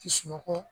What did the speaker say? Kisunɔgɔ